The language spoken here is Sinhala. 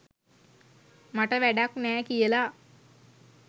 මට වැඩක් නෑ කියලා.